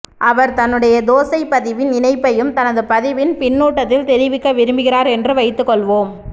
அவர் தன்னுடைய தோசைப் பதிவின் இணைப்பையும் எனது பதிவின் பின்னூட்டத்தில் தெரிவிக்க விரும்புகிறார் என்று வைத்துக் கொள்வோம்